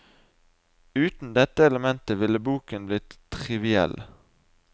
Uten dette elementet ville boken blitt triviell.